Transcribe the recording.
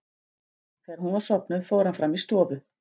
Þegar hún var sofnuð fór hann fram í stofu.